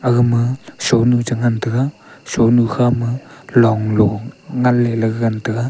aga ma shuanu chi ngai tega shuanu kha ma long lo ngai le gagan taiga.